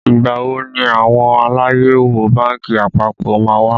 Ìgbà wo ni àwọn Aláyẹ̀wò bánkì àpapọ̀ má wá?